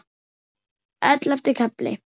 Ellefti kafli